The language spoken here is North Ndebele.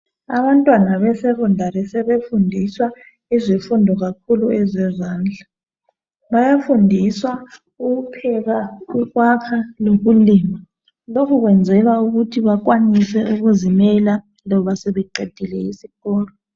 abantwana be secondary sebefundiswa kakhulu izifundo zezandla bayafudiswa ukupheka ipapa lokhu kwenzelwa ukuthi bakwanise ukuzimela loba sebeqedile isikolo